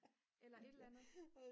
eller et eller andet